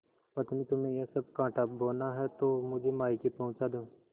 पत्नीतुम्हें यह सब कॉँटा बोना है तो मुझे मायके पहुँचा दो